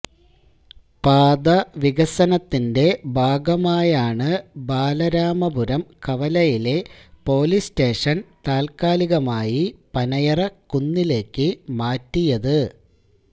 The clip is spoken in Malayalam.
പാതവികസനത്തിന്റെ ഭാഗമായാണ് ബാലരാമപുരം കവലയിലെ പോലീസ് സ്റ്റേഷൻ താത്കാലികമായി പനയറക്കുന്നിലേക്കു മാറ്റിയത്